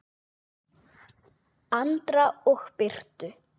Andra og Birtu.